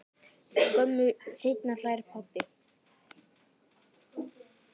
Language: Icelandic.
Skömmu seinna hlær pabbi.